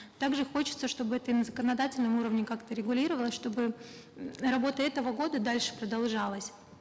также хочется чтобы это и на законодательном уровне как то регулировалось чтобы м работа этого года дальше продолжалась